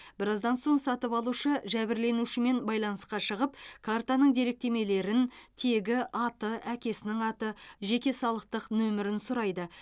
біраздан соң сатып алушы жәбірленушімен байланысқа шығып картаның деректемелерін тегі аты әкесінің аты жеке салықтық нөмірін сұрайды